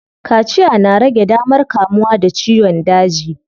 Kaciya na rage damar kamuwa da ciyon daji.